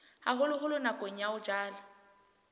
haholoholo nakong ya ho jala